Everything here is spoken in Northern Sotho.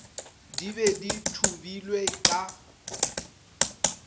di be di thubilwe ka